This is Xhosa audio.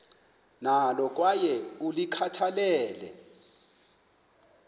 nalo kwaye ulikhathalele